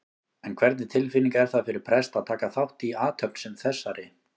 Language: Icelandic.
En hvernig tilfinning er það fyrir prest að taka þátt í athöfn sem þessari?